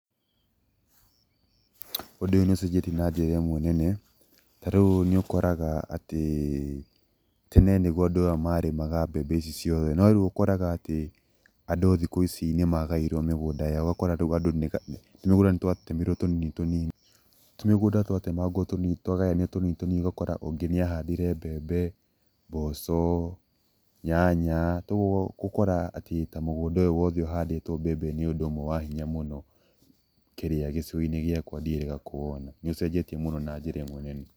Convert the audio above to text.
Ũndũ ũyũ nĩũcenjetie na njĩra ĩmwe nene, ta rĩu nĩũkoraga atĩ tene nĩguo andũ marĩmaga mbembe ici ciothe, no rĩu ũkoraga atĩ andũ thikũ ici nĩmagaĩirwo mĩgũnda yao, ũgakora rĩu tũmĩgũnda nĩtwatemirwo tũnini tũnini. Tũmĩgũnda twagayanio tũnini tũnini, ũgakora ũngĩ nĩahandire mbembe, mboco, nyanya kogwo gũkora atĩ mũgũnda ũyũ wothe ũhandĩtwo mbembe nĩũndũ wa hinya mũno kĩrĩa gĩcigo-inĩ gĩakwa, ndiĩrĩga kuwona, nĩũcenjetie mũno na njĩra ĩmwe nene.